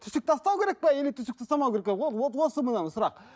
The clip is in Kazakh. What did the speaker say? түсік тастау керек пе или түсік тастамау керек пе о вот вот осы міне сұрақ